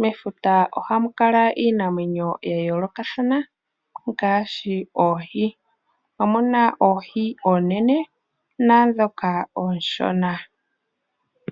Mefuta ohamukala iinamwenyo ya yoolokathana, oha mu adhika oohi oonene naa ndhoka oonshona.